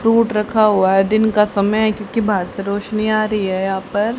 Fruit रखा हुआ है। दिन का समय है इसके पास क्यूंकि बहार से रोशनी आ रही है यहां पर --